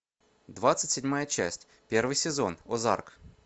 двадцать седьмая часть первый сезон озарк